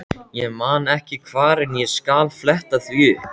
Ég man ekki hvar en ég skal fletta því upp.